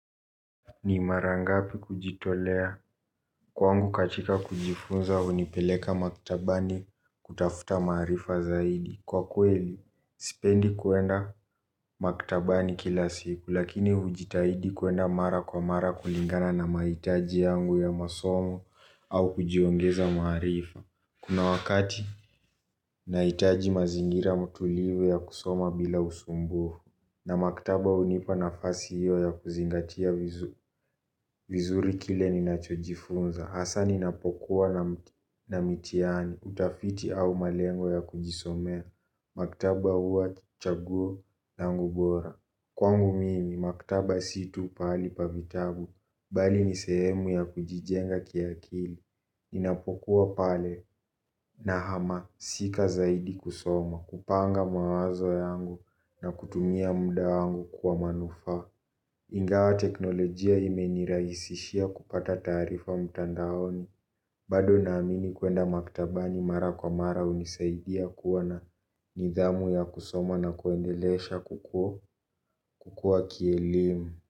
Ni marangapi kujitolea kwangu katika kujifunza hunipeleka maktabani kutafuta maarifa zaidi. Kwa kweli, sipendi kuenda maktabani kila siku lakini hujitahidi kuenda mara kwa mara kulingana na mahitaji yangu ya masomo au kujiongeza maarifa. Kuna wakati, naitaji mazingira matulivu ya kusoma bila usumbuo. Na maktaba hunipa nafasi hiyo ya kuzingatia vizuri kile ninachojifunza hasa ninapokuwa na mtihani, utafiti au malengo ya kujisomea. Maktaba huwa chaguo langu bora. Kwangu mimi, maktaba situ pahali pa vitabu. Bali nisehemu ya kujijenga kiakili. Ninapokuwa pale na hamasika zaidi kusoma. Kupanga mawazo yangu na kutumia muda yangu kwa manufa. Ingawa teknolojia imeniraisishia kupata taarifa mtandaoni. Bado namini kuenda maktabani mara kwa mara hunisaidia kuwa na nidhamu ya kusoma na kuendelesha kukua kielimu.